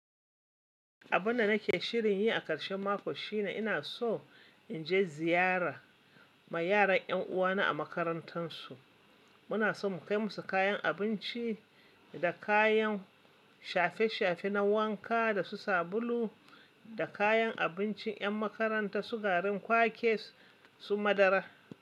Abun da nake shirin yi a ƙarshen mako shine ina so in je ziyara ma yaran 'yan uwana a makarantansu. Muna so mu kai musu kayan abinci da kayan shafe-shafe na wanka da su sabulu da kayan abincin yan makaranta su garin kwakes su madara.